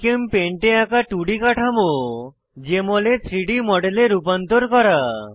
GChemPaint এ আঁকা 2ডি কাঠামো জেএমএল এ 3ডি মডেলে রূপান্তর করা